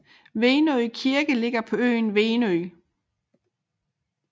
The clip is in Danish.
Venø Kirke ligger på øen Venø